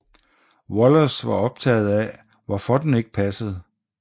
Wallace var optaget af hvorfor den ikke passede